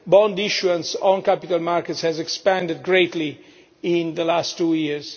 bond issuance on capital markets has expanded greatly in the last two years.